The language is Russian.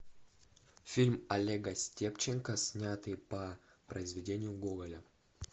фильм олега степченко снятый по произведению гоголя